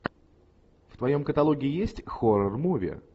в твоем каталоге есть хоррор муви